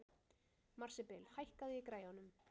Marsibil, hækkaðu í græjunum.